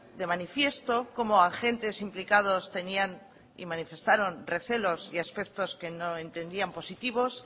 de manifiesto cómo agentes implicados tenían y manifestaron recelos y aspectos que no entendían positivos